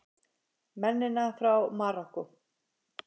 Mennina frá Marokkó!